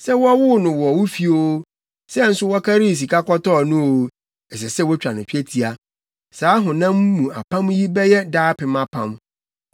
Sɛ wɔwoo no wo fi oo, sɛ nso wɔkarii sika kɔtɔɔ no oo, ɛsɛ sɛ wotwa no twetia. Saa honam mu apam yi bɛyɛ daapem apam.